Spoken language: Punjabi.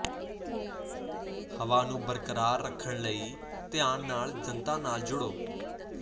ਹਵਾ ਨੂੰ ਬਰਕਰਾਰ ਰੱਖਣ ਲਈ ਧਿਆਨ ਨਾਲ ਜਨਤਾ ਨਾਲ ਜੁੜੋ